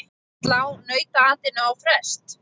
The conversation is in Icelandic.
Slá nautaatinu á frest?